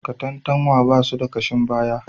Katantanwa ba su da kashin baya